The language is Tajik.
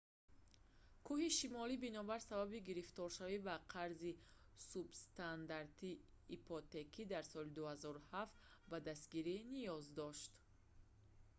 кӯҳи шимолӣ бинобар сабаби гирифторшавӣ ба қарзи субстандарти ипотекӣ дар соли 2007 ба дастгирӣ ниёз дошт